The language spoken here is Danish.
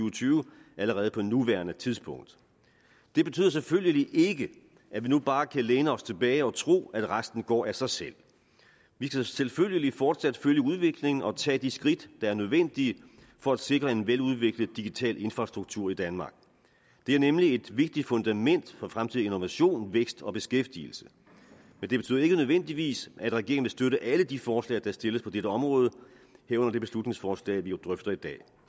og tyve allerede på nuværende tidspunkt det betyder selvfølgelig ikke at vi nu bare kan læne os tilbage og tro at resten går af sig selv vi skal selvfølgelig fortsat følge udviklingen og tage de skridt der er nødvendige for at sikre en veludviklet digital infrastruktur i danmark det er nemlig et vigtigt fundament for fremtidig innovation vækst og beskæftigelse men det betyder ikke nødvendigvis at regeringen vil støtte alle de forslag der stilles på dette område herunder det beslutningsforslag vi drøfter i dag